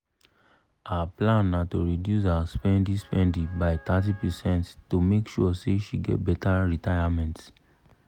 her plan na to reduce her spendi-spendi by thirty percent to make sure say she get better retayament.